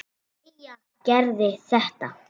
Leigja Gerði þetta.